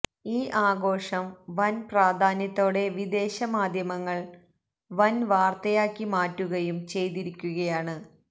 ഈ ആഘോഷം വൻ പ്രാധാന്യത്തോടെ വിദേശ മാദ്ധ്യമങ്ങൾ വൻ വാർത്തയാക്കി മാറ്റുകയും ചെയ്തിരിക്കുകയാണ്